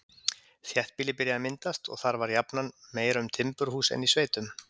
Þéttbýli byrjaði að myndast, og þar var jafnan meira um timburhús en í sveitum.